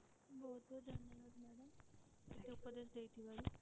ବହୁତ ବହୁତ ଧନ୍ୟବାଦ madam ମୋତେ ଉପଦେଶ ଦେଇଥିବାରୁ।